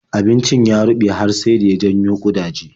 Abincin ya ruɓe har sai da ya janyo ƙudaje.